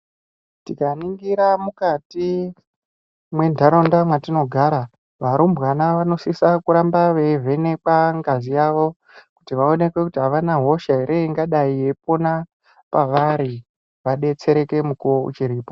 Tikaningira mukati mwentaraunda mwatinogara, varumbwana vanosisa kuramba veivhenekwa ngazi yavo kuti vaoneke kuti avana hosha ere ingadai yeipona pavari, vadetsereke mukuwo uchiripi.